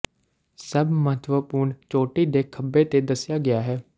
ਸਭ ਮਹੱਤਵਪੂਰਨ ਚੋਟੀ ਦੇ ਖੱਬੇ ਤੇ ਦੱਸਿਆ ਗਿਆ ਹੈ